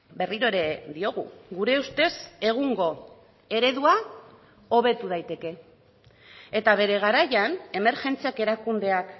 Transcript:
berriro ere diogu gure ustez egungo eredua hobetu daiteke eta bere garaian emergentziak erakundeak